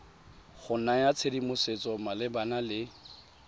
go naya tshedimosetso malebana le